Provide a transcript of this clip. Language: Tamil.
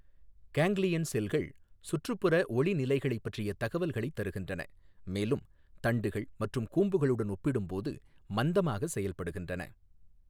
கேங்க்லியன் செல்கள் சுற்றுப்புற ஒளி நிலைகள் பற்றிய தகவல்களைத் தருகின்றன, மேலும் தண்டுகள் மற்றும் கூம்புகளுடன் ஒப்பிடும்போது மந்தமாக செயல்படுகின்றன.